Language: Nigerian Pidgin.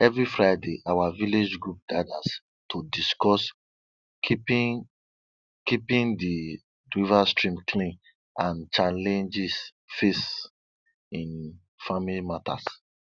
every friday our village group gathers to discuss keeping keeping the riverside clean and challenges faced in farming matters